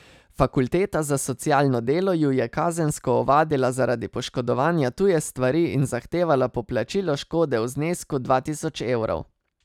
Fakulteta za socialno delo ju je kazensko ovadila zaradi poškodovanja tuje stvari in zahtevala poplačilo škode v znesku dva tisoč evrov.